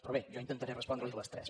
però bé jo intentaré respondre li les tres